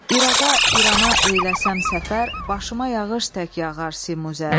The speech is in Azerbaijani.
İraqa, İrana eyləsəm səfər, başıma yağış tək yağar simüzər.